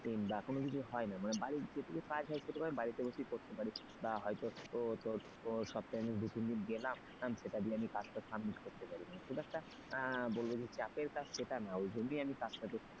কোন কিছু হয় নাই মানে বাড়িতে যেটুকু কাজ হয় সেটুকু কাজ বাড়িতে বসেই করতে পারি। বা হয়তো তোর সপ্তাহে দু তিন দিন গেলাম সেটা দিয়ে আজকে submit করতে পারিনি সেই কাজটা বলল যে চাপের কাজ সেটা না ওই জন্যই আমি কাজট করছি।